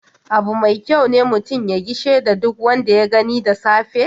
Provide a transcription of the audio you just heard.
Abu mai kyau ne mutum ya gishe da duk wanda ya gani da safe.